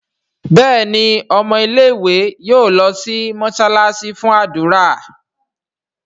Béèni ọmọ ilé ìwé yóò ló sì mosalasi fún ádùrá.